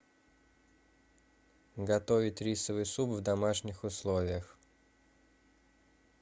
готовить рисовый суп в домашних условиях